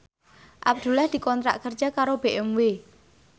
Abdullah dikontrak kerja karo BMW